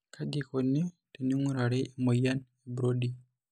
Kaji eikoni teneing'urari emuoyian eBrody?